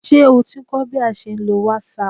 Ṣé o ti ń kọ́ bí a ṣe ń lo whatsapp?